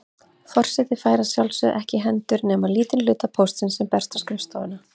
Forseti fær að sjálfsögðu ekki í hendur nema lítinn hluta póstsins sem berst á skrifstofuna.